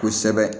Kosɛbɛ